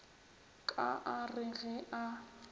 ka a re ge a